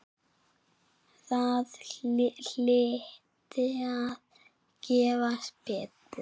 Það hlyti að gefast betur.